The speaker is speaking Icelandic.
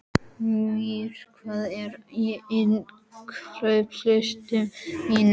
Mír, hvað er á innkaupalistanum mínum?